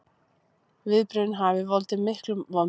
Viðbrögðin hafi valdið miklum vonbrigðum